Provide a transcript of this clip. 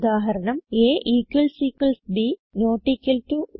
ഉദാഹരണം160ab not equal to